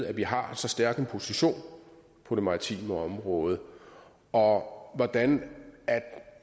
at vi har så stærk en position på det maritime område og hvordan